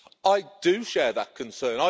I do share that concern.